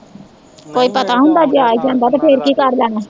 ਕੋਈ ਪਤਾ ਹੁੰਦਾ ਜੇ ਆ ਈ ਜਾਂਦਾ ਤੇ ਫੇਰ ਕੀ ਕਰਨ ਲੈਣਾ ਸੀ